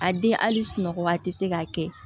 A den hali sunɔgɔ waati se ka kɛ